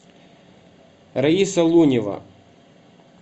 раиса лунева